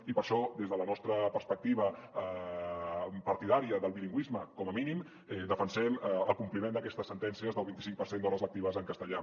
i per això des de la nos·tra perspectiva partidària del bilingüisme com a mínim defensem el compliment d’aquestes sentències del vint·i·cinc per cent d’hores lectives en castellà